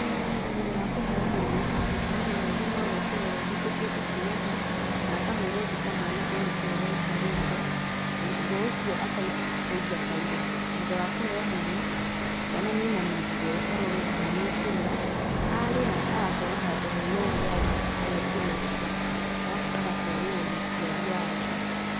Thutha wa kũheo mwana, mũtũmia nĩ athimagwo kũrorwo ahingukĩte nginya ha na akahũrwo mbica mwana oneke ũrĩa aikarĩte. Na thutha ũcio akaihũria bairo. Thutha wa kũheo mwana, mwana nĩ ainamagio arorwo kana nĩ ekũrĩra. Arĩra, agatwarwo handũ hena ũrugarĩ, ageekĩrwo nguo, arabu agatwarĩrwo mũciari wake.